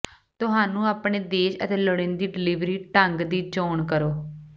ਤੁਹਾਨੂੰ ਆਪਣੇ ਦੇਸ਼ ਅਤੇ ਲੋੜੀਦੇ ਡਿਲੀਵਰੀ ਢੰਗ ਦੀ ਚੋਣ ਕਰੋ